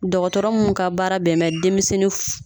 Dɔgɔtɔrɔ mun ka baara bɛn bɛ denmisɛnnin fu